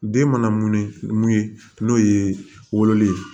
Den mana munu mun ye n'o ye wololen ye